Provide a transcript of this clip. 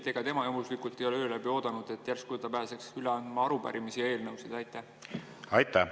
Ega tema juhuslikult ei ole öö läbi oodanud, et järsku ta pääseks üle andma arupärimisi ja eelnõusid?